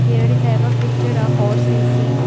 Here in the above picture a horse is seen.